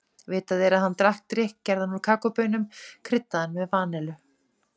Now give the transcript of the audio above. Vitað er að hann drakk drykk gerðan úr kakóbaunum, kryddaðan með vanillu.